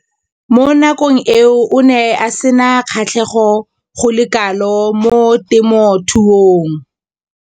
Mo nakong eo o ne a sena kgatlhego go le kalo mo temothuong.